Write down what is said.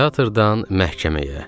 Teatrdan məhkəməyə.